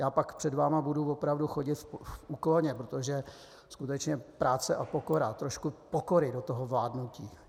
Já pak před vámi budu opravdu chodit v úklonu, protože skutečně práce a pokora, trošku pokory do toho vládnutí.